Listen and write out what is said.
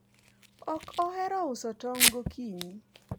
ok ohero uso tong' gokinyi